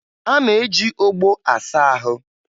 A na-eji ogbo asa ahụ